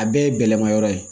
A bɛɛ ye bɛlɛmayɔrɔ ye